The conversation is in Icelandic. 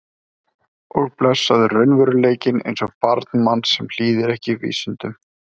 Og blessaður raunveruleikinn eins og barn manns sem hlýðir ekki vísindum.